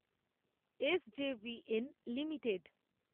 SJVN limited